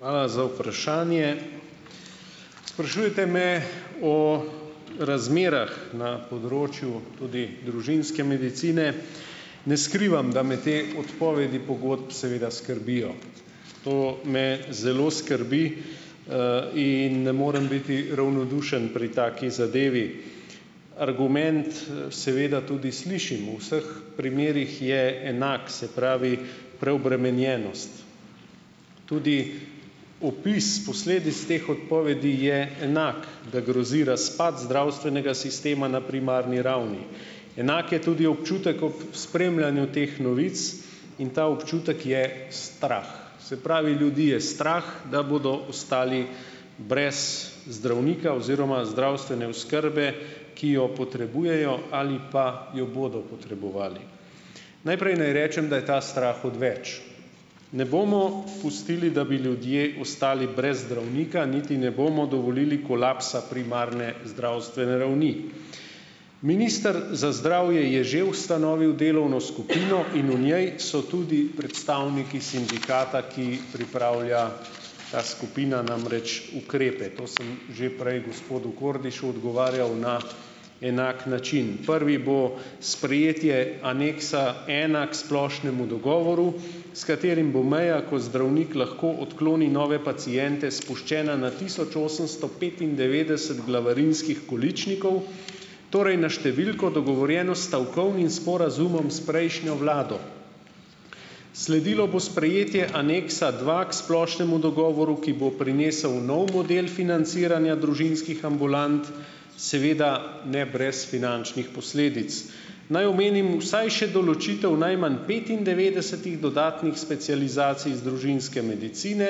Hvala za vprašanje. Sprašujete me, o razmerah na področju tudi družinske medicine. Ne skrivam, da me te odpovedi pogodb, seveda, skrbijo. To me zelo skrbi. In ne morem biti ravnodušen pri taki zadevi. Argument, seveda tudi slišim. V vseh primerih je enak, se pravi, preobremenjenost. Tudi opis posledic teh odpovedi je enak, da grozi razpad zdravstvenega sistema na primarni ravni. Enak je tudi občutek ob spremljanju teh novic. In ta občutek je strah. Se pravi, ljudi je strah, da bodo ostali brez zdravnika oziroma zdravstvene oskrbe, ki jo potrebujejo ali pa jo bodo potrebovali. Najprej naj rečem, da je ta strah odveč. Ne bomo pustili, da bi ljudje ostali brez zdravnika. Niti ne bomo dovolili kolapsa primarne zdravstvene ravni. Minister za zdravje je že ustanovil delovno skupino. In v njej so tudi predstavniki sindikata, ki pripravlja, ta skupina, namreč ukrepe. To sem že prej gospodu Kordišu odgovarjal na enak način. Prvi bo sprejetje aneksa ena k splošnemu dogovoru, s katerim bo imel, ko zdravnik lahko odkloni nove paciente, spuščena na tisoč osemsto petindevetdeset glavarinskih količnikov, torej na številko, dogovorjeno s stavkovnim sporazumom s prejšnjo vlado. Sledilo bo sprejetje aneksa dva k splošnemu dogovoru, ki bo prinesel nov model financiranja družinskih ambulant, seveda ne brez finančnih posledic. Naj omenim vsaj še določitev najmanj petindevetdesetih dodatnih specializacij z družinske medicine,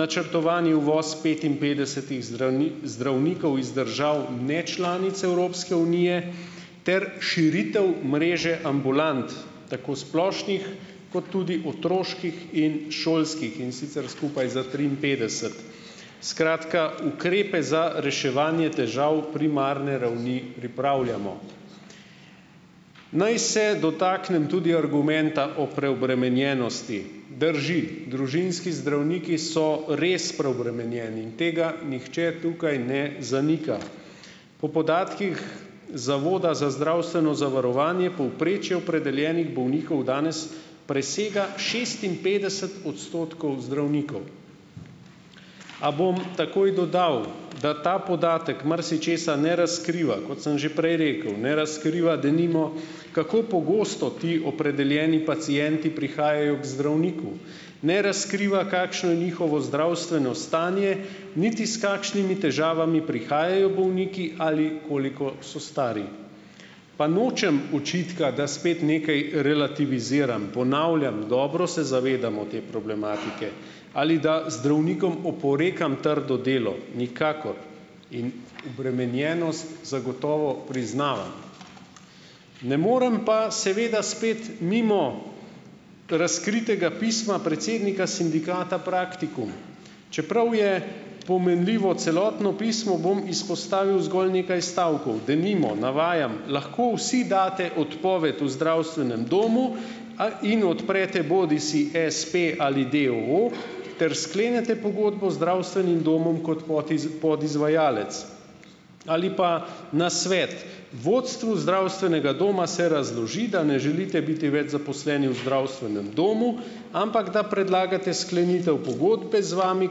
načrtovani uvoz petinpetdesetih zdravnikov iz držav nečlanic Evropske unije ter širitev mreže ambulant, tako splošnih kot tudi otroških in šolskih, in sicer skupaj za triinpetdeset. Skratka, ukrepe za reševanje težav primarne ravni pripravljamo. Naj se dotaknem tudi argumenta o preobremenjenosti. Drži, družinski zdravniki so res preobremenjeni in tega nihče tukaj ne zanika. Po podatkih, Zavoda za zdravstveno zavarovanje povprečje opredeljenih bolnikov danes presega šestinpetdeset odstotkov zdravnikov. A bom takoj dodal, da ta podatek marsičesa ne razkriva. Kot sem že prej rekel, ne razkriva denimo, kako pogosto ti opredeljeni pacienti prihajajo k zdravniku, ne razkriva, kakšno je njihovo zdravstveno stanje, niti s kakšnimi težavami prihajajo bolniki ali koliko so stari. Pa nočem očitka, da spet nekaj relativiziram. Ponavljam, dobro se zavedamo te problematike. Ali da zdravnikom oporekam trdo delo. Nikakor. In obremenjenost zagotovo priznavam. Ne moram pa, seveda, spet mimo razkritega pisma predsednika sindikata Praktikum. Čeprav je pomenljivo celotno pismo, bom izpostavil zgolj nekaj stavkov. Denimo, navajam: "Lahko vsi daste odpoved v zdravstvenem domu in odprete bodisi espe ali d. o. o. ter sklenete pogodbo z zdravstvenim domom kot podizvajalec." Ali pa nasvet: "Vodstvu zdravstvenega doma se razloži, da ne želite biti več zaposleni v zdravstvenem domu, ampak da predlagate sklenitev pogodbe z vami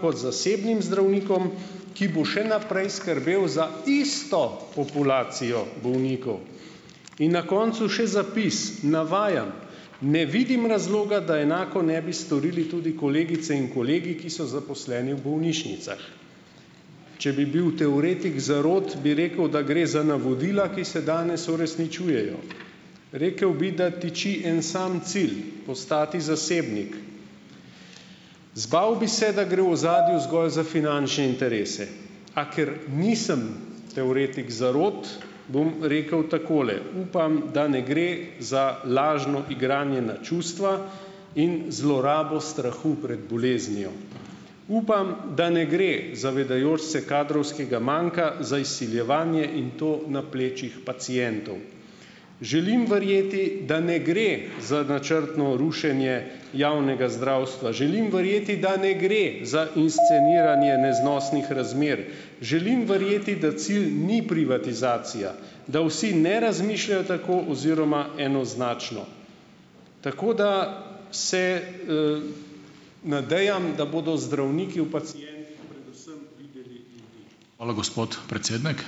kot zasebnim zdravnikom, ki bo še naprej skrbel za isto populacijo bolnikov." In na koncu še zapis, navajam: "Ne vidim razloga, da enako ne bi storili tudi kolegice in kolegi, ki so zaposleni v bolnišnicah." Če bi bil teoretik zarot, bi rekel, da gre za navodila, ki se danes uresničujejo. Rekel bi, da tiči en sam cilj. Postati zasebnik. Zbal bi se, da gre v ozadju zgolj za finančne interese. A ker nisem teoretik zarot, bom rekel takole. Upam, da ne gre za lažno igranje na čustva in zlorabo strahu pred boleznijo. Upam, da ne gre, zavedajoč se kadrovskega manjka, za izsiljevanje in to na plečih pacientov. Želim verjeti, da ne gre za načrtno rušenje javnega zdravstva. Želim verjeti, da ne gre za insceniranje neznosnih razmer, želim verjeti, da cilj ni privatizacija, da vsi ne razmišljajo tako oziroma enoznačno. Tako da se, nadejam, da bodo zdravniki Hvala, gospod predsednik.